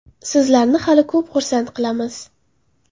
Sizlarni hali ko‘p xursand qilamiz.